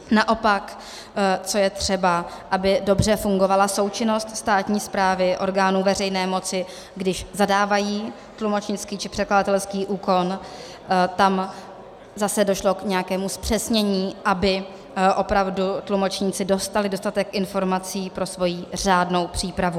Naopak co je třeba - aby dobře fungovala součinnost státní správy, orgánů veřejné moci, když zadávají tlumočnický či překladatelský úkon, tam zase došlo k nějakému zpřesnění, aby opravdu tlumočníci dostali dostatek informací pro svoji řádnou přípravu.